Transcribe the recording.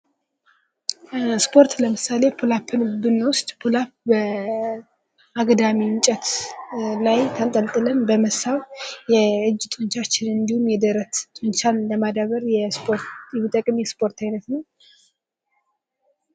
ስፖርት ለምሳሌ ፑል አፕን ብንወስድ በአግዳሚ እንጨት ላይ ተንጥለን በመሳብ የእጅ ጡንቻዎችን እንዲሁም የደረት ጡንቻዎችን ለማዳበር የሚጠቅም የስፖርት አይነት ነው ።